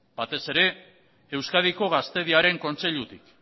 batez ere euskadiko gaztediaren kontseilutik